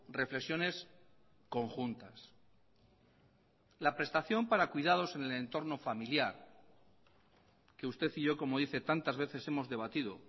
reflexiones conjuntas la prestación para cuidados en el entorno familiar que usted y yo como dice tantas veces hemos debatido